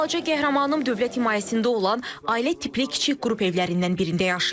Balaca qəhrəmanım dövlət himayəsində olan ailə tipli kiçik qrup evlərindən birində yaşayır.